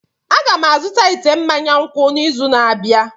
Aga m azụta ite mmanya nkwụ n'izu na-abịa.